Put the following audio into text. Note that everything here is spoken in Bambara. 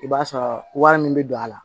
I b'a sɔrɔ wari min bɛ don a la